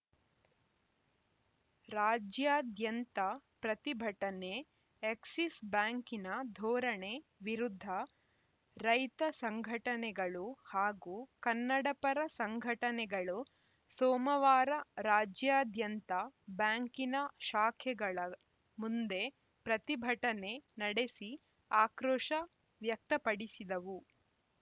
ರಾಜ್ಯಾದ್ಯಂತ ಪ್ರತಿಭಟನೆ ಎಕ್ಸಿಸ್‌ ಬ್ಯಾಂಕಿನ ಧೋರಣೆ ವಿರುದ್ಧ ರೈತ ಸಂಘನೆಗಳು ಹಾಗೂ ಕನ್ನಡಪರ ಸಂಘಟನೆಗಳು ಸೋಮವಾರ ರಾಜ್ಯಾದ್ಯಂತ ಬ್ಯಾಂಕಿನ ಶಾಖೆಗಳ ಮುಂದೆ ಪ್ರತಿಭಟನೆ ನಡೆಸಿ ಆಕ್ರೋಶ ವ್ಯಕ್ತಪಡಿಸಿದವು